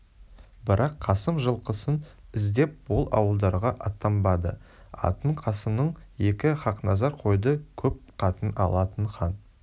бірақ қасым жылқысын іздеп ол ауылдарға аттанбады атын қасымның өзі хақназар қойды көп қатын алатын хан